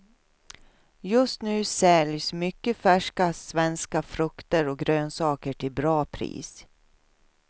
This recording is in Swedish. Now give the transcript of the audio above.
Just nu säljs mycket färska svenska frukter och grönsaker till bra pris.